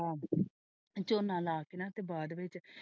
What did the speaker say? ਝੂਣਾ ਲਾ ਦਿਤੀਆਂ ਤੇ ਬਾਅਦ ਵਿੱਚ।